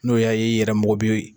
N'o y'a ye i yɛrɛ mako bɛ.